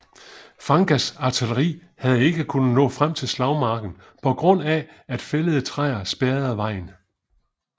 Fagans artilleri havde ikke kunnet nå frem til slagmarken på grund af at fældede træer spærrede vejen